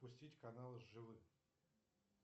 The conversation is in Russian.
пустить канал живы